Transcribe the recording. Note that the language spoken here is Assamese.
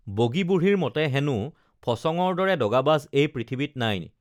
বগী বুঢ়ীৰ মতে হেনো ফচঙৰ দৰে দগাবাজ এই পৃথিৱীত নাই